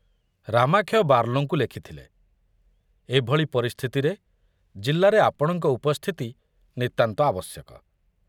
ରାମାକ୍ଷୟ ବାର୍ଲୋଙ୍କୁ ଲେଖିଥଲେ, ଏଭଳି ପରିସ୍ଥିତିରେ ଜିଲ୍ଲାରେ ଆପଣଙ୍କ ଉପସ୍ଥିତି ନିତାନ୍ତ ଆବଶ୍ୟକ।